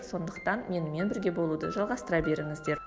сондықтан менімен бірге болуды жалғастыра беріңіздер